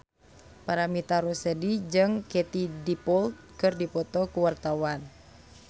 Paramitha Rusady jeung Katie Dippold keur dipoto ku wartawan